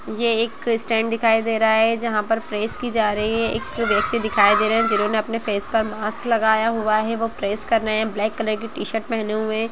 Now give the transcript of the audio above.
ये एक स्टैंड दिखा दे रहा है जहां पर प्रेस की जा रही है एक व्यक्ति दिखाई दे रहे हैं जिन्होंने अपने फेस पर मास्क लगाया हुआ है वो प्रेस कर रहे हैं ब्लैक कलर की टी-शर्ट पहने हुए।